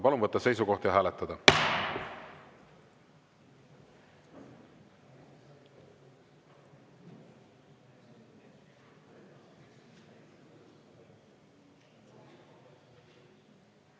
Palun võtta seisukoht ja hääletada!